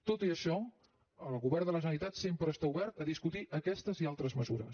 tot i això el govern de la generalitat sempre està obert a discutir aquestes i altres mesures